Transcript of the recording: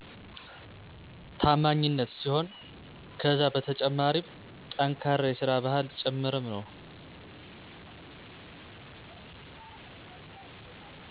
ታማኝነት ሲሆን ከዛ በተጨማሪም ጠንካራ የሰራ ባህል ጭምርም ነው።